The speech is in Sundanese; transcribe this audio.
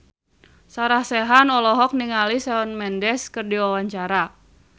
Sarah Sechan olohok ningali Shawn Mendes keur diwawancara